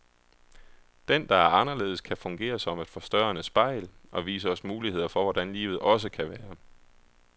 Den, der er anderledes, kan fungere som et forstørrende spejl, og vise os muligheder for hvordan livet også kan være.